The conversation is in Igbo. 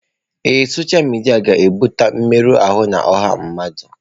Ee, sọsha midia ga-ebute mmerụ ahụ na ọha mmadụ.